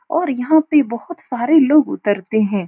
और यहाँ पे बोहोत सारे लोग उतरते हैं।